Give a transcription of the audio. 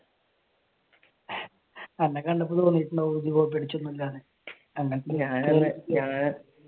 അന്നെ കണ്ടപ്പോൾ തോന്നിയിട്ടുണ്ടാകും കോപ്പിയടിച്ചൊന്നുമില്ലാന്ന് അങ്ങനത്തെ